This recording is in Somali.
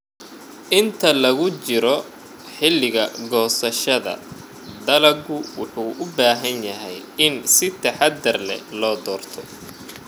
Inta lagu jiro xilliga goosashada, dalaggu wuxuu u baahan yahay in si taxadar leh loo doorto.